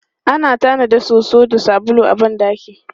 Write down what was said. Ana tanada soso da sabulu a ban ɗaki.